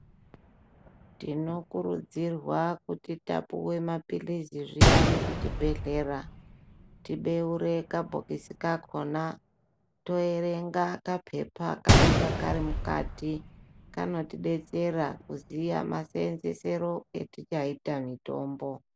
Tinokurudzirwa kuti tapuwe mapilizi zviyani kuchibhendhlera tibeure kabhokisi kakona toerenga kapepa kanonga karimukati kanotidetsera kuziya maseenzesero etichaita mutombo